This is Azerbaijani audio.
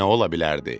Axı nə ola bilərdi?